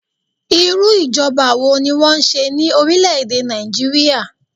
Irú ìjọba wo ni wọn n ṣe ní orílè èdè Nàìjíríà?